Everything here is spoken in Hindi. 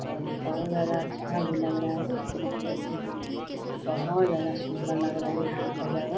और बहुत ज़्यादा अच्छा भी लग रहा है खूबसूरत भी है बहुत ज्यादा सुंदर लग रहा है यहाँ का जगह।